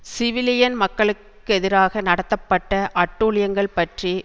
civilian மக்களுக்கெதிராக நடத்தப்பட்ட அட்டூழியங்கள் பற்றி